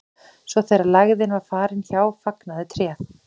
svo þegar lægðin var farin hjá fagnaði tréð